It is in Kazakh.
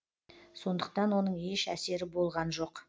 сондықтан оның еш әсері болған жоқ